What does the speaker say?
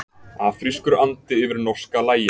Afrískur andi yfir norska lagin